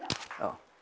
og